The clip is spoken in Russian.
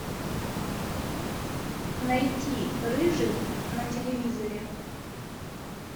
найти рыжий на телевизоре